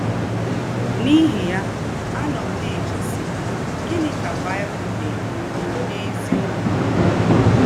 N’íhí ya, ànọ́ m ná-èchè, sí, ‘Gị̀nị́ ka Baị́bụ̀l ná-èkwù n’ézíọ́kù?’